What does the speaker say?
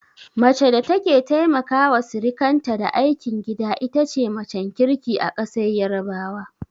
Mace da take taimaka wa sirikanta da aikin gida itace macen kirki a ƙasar yarabawa